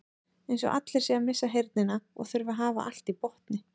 Eins og allir séu að missa heyrnina og þurfi að hafa allt í botni.